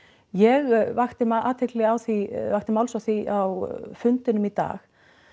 ég vakti athygli á því vakti máls á því á fundinum í dag